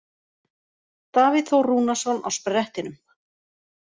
Davíð Þór Rúnarsson á sprettinum.